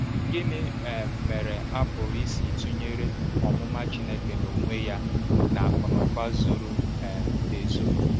Gịnị um mere a pụrụ isi tụnyere “omụma Chineke n’onwe ya” na “akụnụba zoro um ezo”?